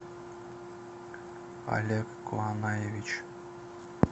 олег куанаевич